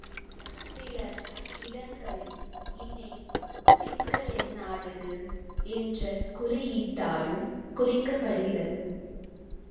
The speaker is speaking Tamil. சில இடங்களில் இணை சிக்கலெண்ணானது என்ற குறியீட்டாலும் குறிக்கப்படுகிறது